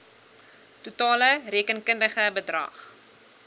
totale rekenkundige bedrag